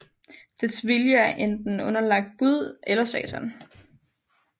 Dets vilje er enten underlagt Gud eller Satan